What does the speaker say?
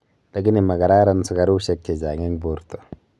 lakini magararan sugarushek che chnag eng orta